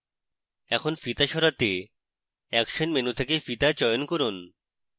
এখন ফিতা সরাতে action menu থেকে ফিতা চয়ন করুন